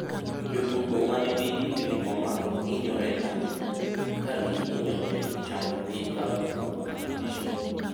Jotugo manigi higni mamalo hinyore ahinya, to kagi hinyore chango gi kawo thuol malach.